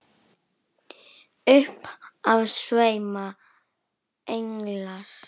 Upp af sveima englar.